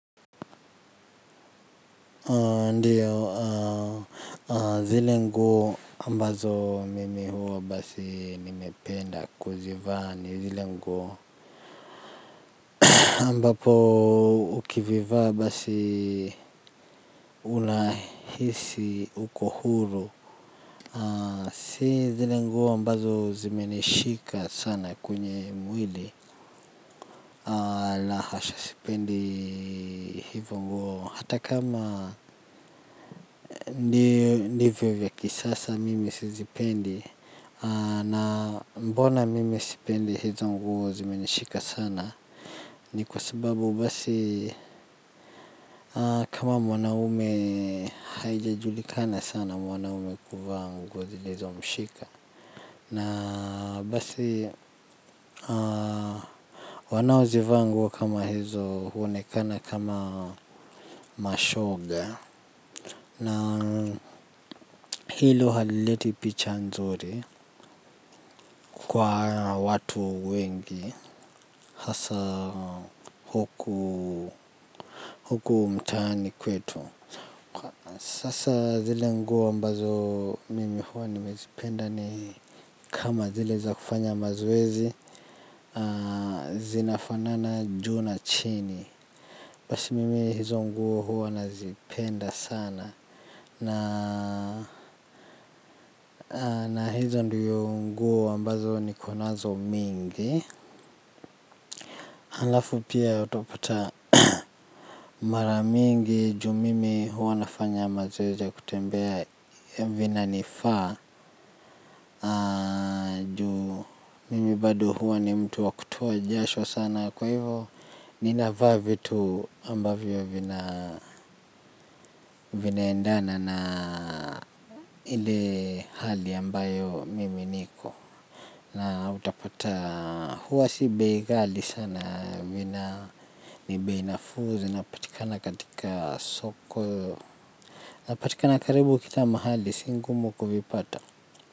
Ndio, zile nguo ambazo mimi huwa basi nimependa kuzivaa ni zile nguo ambapo ukivivaa basi unahisi uko huru. Si zile nguo ambazo zimenishika sana kwenye mwili. La hasha, sipendi hivyo nguo hata kama ndivyo vya kisasa mimi sizipendi na mbona mimi sipendi hizo nguo zimenishika sana. Ni kwa sababu basi kama mwanaume haijajulikana sana mwanaume kuvaa nguo zilizomshika. Na basi wanaozivaa nguo kama hizo huonekana kama mashoga. Na hilo halileti picha nzuri kwa watu wengi. Hasa huku mtaani kwetu. Sasa zile nguo ambazo mimi huwa nimezipenda ni kama zile za kufanya mazoezi. Zinafanana juu na chini. Basi mimi hizo nguo huwa nazipenda sana. Na hizo ndio nguo ambazo niko nazo mingi alafu pia utapata mara mingi juu mimi huwa nafanya mazoezi ya kutembea vinanifaa juu mimi bado hua ni mtu wa kutoa jasho sana kwa hivo ninavaa vitu ambavyo vinaendana na ile hali ambayo mimi niko utapata hua si bei ghali sana vina ni bei nafuu zinapatikana katika soko napatikana karibu kila mahali si ngumu kuvipata.